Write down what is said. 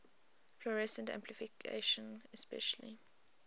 fluorescence amplification especially